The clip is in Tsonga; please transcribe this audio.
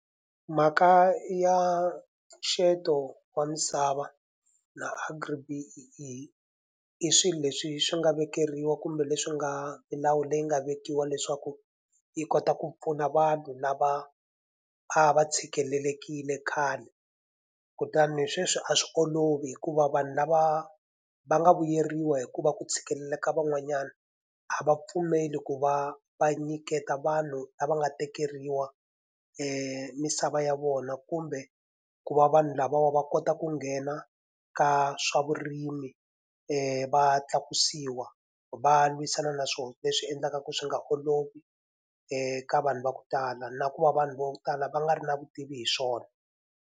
Mhaka ya mpfuxeto wa misava na Agri-B_E_E i swilo leswi swi nga vekeriwa kumbe leswi nga milawu leyi nga vekiwa leswaku yi kota ku pfuna vanhu lava a va tshikelelekile khale. Kutani sweswi a swi olovi hikuva vanhu lava va nga vuyeriwa hi ku va ku tshikelela ka van'wanyana, a va pfumeli ku va va nyiketa vanhu lava nga tekeriwa misava ya vona kumbe ku va vanhu lavawa va kota ku nghena ka swa vurimi va tlakusiwa. Va lwisana na swona, leswi endlaka ku swi nga olovi ka vanhu va ku tala na ku va vanhu vo tala va nga ri na vutivi hi swona.